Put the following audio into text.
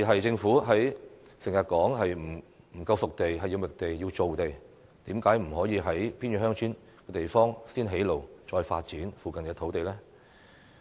政府經常說欠缺"熟地"，需要覓地及造地，但為何不先在偏遠鄉村地方建路，然後再發展附近土地呢？